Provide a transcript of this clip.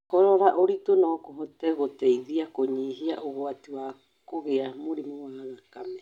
Kũrora ũritũ no kũhote gũteithia kũnyihia ũgwati wa kũgĩa mũrimũ wa thakame